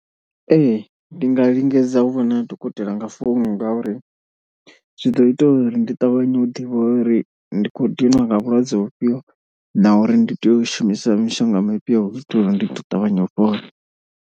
Ee ndi nga lingedza u vhona dokotela nga founu ngauri, zwi ḓo ita uri ndi ṱavhanye u ḓivha uri ndi khou ḓinwa nga vhulwadze vhufhio na uri ndi tea u shumisa mishonga mifhio hu u itela uri ndi ḓo ṱavhanya u fhola.